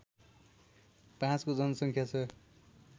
५ को जनसङ्ख्या छ